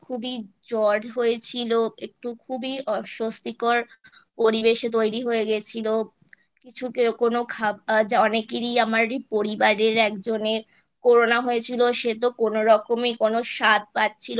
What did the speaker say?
জ্বর হয়েছিল একটু খুবই অস্বত্বিকর পরিবেশ তৈরী হয়ে গেছিলো কিছুকে কোনো খাবার অনেকেরই আমার পরিবারের একজনের Corona হয়েছিল সেতো কোনোরকম কোনো স্বাদ পাচ্ছিলো না